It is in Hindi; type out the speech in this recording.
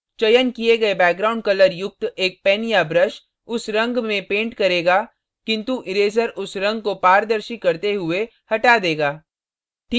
चयन किये गए background colour युक्त एक pen या brush उस रंग में paint करेगा किन्तु इरेज़र उस रंग को पारदर्शी करते हुए हटा देगा